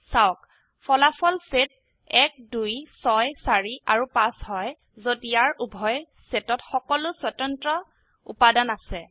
চাওক ফলাফল সেট ১২৬৪ আৰু ৫ হয় যত ইয়াৰ উভয় সেটত সকলো স্বতন্ত্ৰ উপাদান আছে